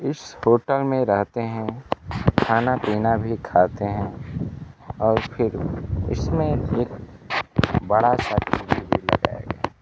इस होटल में रहते हैं खाना पीना भी खाते हैं और फिर इसमें एक बड़ा सा ।